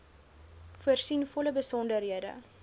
voorsien volle besonderhede